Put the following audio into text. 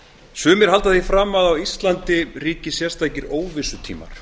sumir halda því fram að á íslandi ríki sérstakir óvissutímar